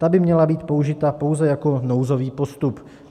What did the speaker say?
Ta by měla být použita pouze jako nouzový postup.